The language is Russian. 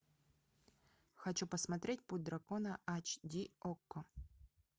хочу посмотреть путь дракона ач ди окко